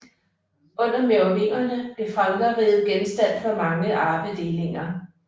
Under merovingerne blev Frankerriget genstand for mange arvedelinger